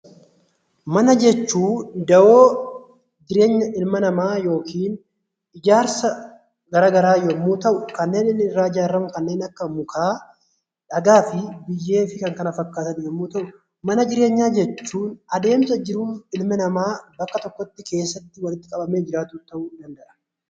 Mana jechuun dahoo ilma namaa yookaan ijaarsa garaagaraa yommuu ta'u, kanneen inni irraa ijaaramu kanneen akka mukaa, dhagaa, biyyee fi kan kana fakkaatan yommuu ta'u mana jireenyaa jechuun adeemsa jiruun ilma namaa bakka tokkotti keessatti walitti qabamee jiraatu jechuudha